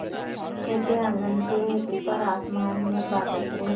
छोटे आँगन के ऊपर आसमान में बादल में